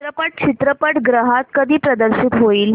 चित्रपट चित्रपटगृहात कधी प्रदर्शित होईल